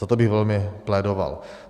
Za to bych velmi plédoval.